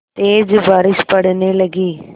तेज़ बारिश पड़ने लगी